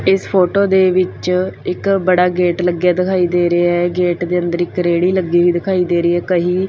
ਇਸ ਫੋਟੋ ਦੇ ਵਿੱਚ ਇੱਕ ਬੜਾ ਗੇਟ ਲੱਗਿਆ ਦਿਖਾਈ ਦੇ ਰਿਹਾ ਆ ਗੇਟ ਦੇ ਅੰਦਰ ਇੱਕ ਰੇੜੀ ਲੱਗੀ ਹੋਈ ਦਿਖਾਈ ਦੇ ਰਹੀ ਆ ਕਹੀ --